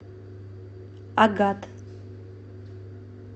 агат